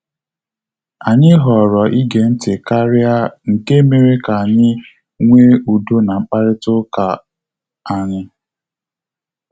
Anyị họrọ ige ntị karịa nke mere ka anyị nwe udo na mkparịta uka anyi